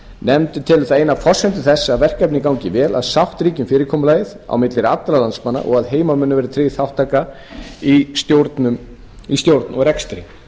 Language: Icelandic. nefndin telur það eina af forsendum þess að verkefnið gangi vel að sátt ríki um fyrirkomulagið á milli allra landsmanna og að heimamönnum verði tryggð þátttaka í stjórn og rekstri